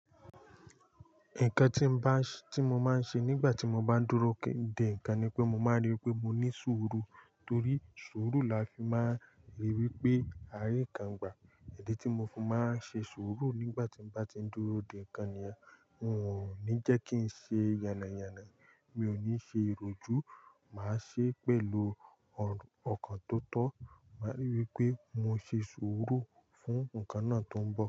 Nǹkan tí mo máa ń ṣe nígbà tí mo bá ń dúró de nǹkan ni pé mo máa n rí i pé mo ní sùúrù torí sùúrù la fi máa ń rí i pé àárín kan gbà. Idi tí mo fi máa ń ṣe sùúrù nígbà tí mo bá ti ń dúró de nǹkan nìyẹn, n ò ní jẹ́ kí ń ṣe yànàyànà. Mi ò ní ṣe ìròjú, màá ṣe pẹ̀lú ọkàn tó tọ́, màá rí i pé mo ṣe sùúrù fún nǹkan náà tó ń bọ̀